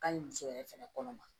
Ka ɲi muso yɛrɛ fɛnɛ kɔnɔ ma